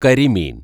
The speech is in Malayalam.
കരിമീന്‍